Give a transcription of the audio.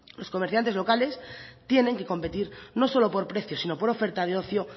los comerciantes locales tienen que competir no solo por precio sino por oferta de ocio